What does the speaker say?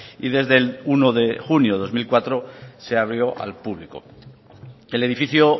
y desde el uno de junio de dos mil cuatro se abrió al público el edificio